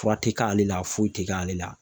Fura te k'ale la foyi te k'ale la.